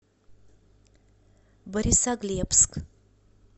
борисоглебск